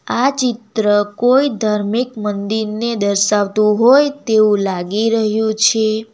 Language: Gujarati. આ ચિત્ર કોઈ ધાર્મિક મંદિરને દર્શાવતું હોય તેવું લાગી રહ્યું છે.